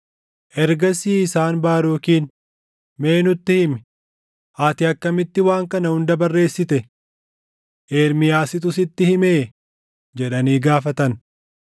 Ergasii isaan Baarukiin, “Mee nutti himi; ati akkamitti waan kana hunda barreessite? Ermiyaasitu sitti himee?” jedhanii gaafatan.